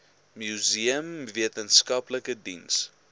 museum wetenskaplike diens